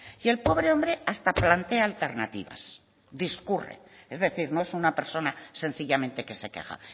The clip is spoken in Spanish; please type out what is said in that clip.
y el pobre hombre hasta plantea alternativas discurre es decir no es una persona sencillamente que se queja